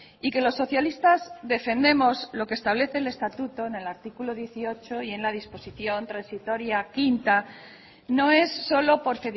y que los socialistas defendemos lo que establece el estatuto en el artículo dieciocho y en la disposición transitoria quinta no es solo por